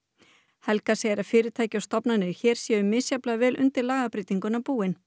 helga segir að fyrirtæki og stofnanir hér séu misjafnlega vel undir lagabreytinguna búin